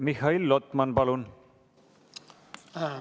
Mihhail Lotman, palun!